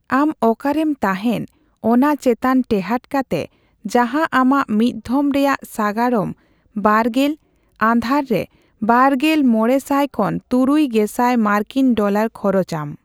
ᱟᱢ ᱚᱠᱟᱨᱮᱢ ᱛᱟᱦᱮᱸᱱ ᱚᱱᱟ ᱪᱮᱛᱟᱱ ᱴᱮᱦᱟᱸᱴ ᱠᱟᱛᱮ ᱡᱟᱦᱟᱸ ᱟᱢᱟᱜ ᱢᱤᱫᱷᱷᱚᱢ ᱨᱮᱭᱟᱜ ᱥᱟᱜᱟᱲᱚᱢ ᱵᱟᱨᱜᱮᱞ'ᱟᱫᱷᱟᱨ ᱨᱮ ᱵᱟᱨᱜᱮᱞ ᱢᱚᱲᱮ ᱥᱟᱭ ᱠᱷᱚᱱ ᱛᱩᱨᱩᱭ ᱜᱮᱥᱟᱭ ᱢᱟᱨᱠᱤᱱ ᱰᱚᱞᱟᱨ ᱠᱷᱚᱨᱚᱪ ᱟᱢ ᱾